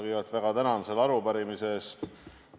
Kõigepealt ma väga tänan selle arupärimise eest!